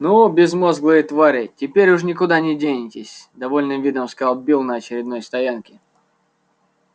ну безмозглые твари теперь уж никуда не денетесь с довольным видом сказал билл на очередной стоянке